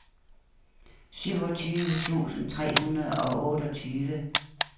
syvogtyve tusind tre hundrede og otteogtyve